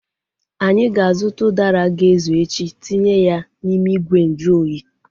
Anyị ga-azụta udara ga-ezu echi tinye ya n'ime ìgwè nju oyi